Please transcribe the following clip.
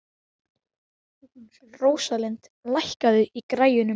Rósalind, lækkaðu í græjunum.